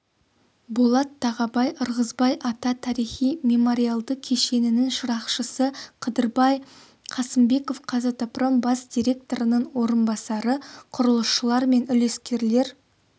болат тағабай ырғызбай ата тарихи-мемориалды кешенінің шырақшысы қыдырбай қасымбеков қазатомпром бас директорының орынбасары құрылысшылар мен үлескерлер